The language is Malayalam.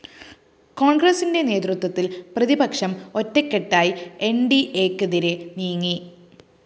കോണ്‍ഗ്രസിന്റെ നേതൃത്വത്തില്‍ പ്രതിപക്ഷം ഒറ്റക്കെട്ടായി എന്‍ഡിഎയ്‌ക്കെതിരേ നീങ്ങി